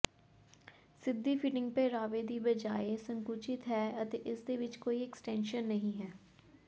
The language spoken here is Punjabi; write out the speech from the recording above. ਸਿੱਧੀ ਫਿਟਿੰਗ ਪਹਿਰਾਵੇ ਦੀ ਬਜਾਏ ਸੰਕੁਚਿਤ ਹੈ ਅਤੇ ਇਸਦੇ ਵਿੱਚ ਕੋਈ ਐਕਸਟੈਂਸ਼ਨ ਨਹੀਂ ਹੈ